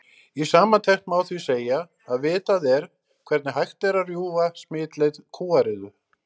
Í samantekt má því segja að vitað er hvernig hægt er að rjúfa smitleið kúariðu.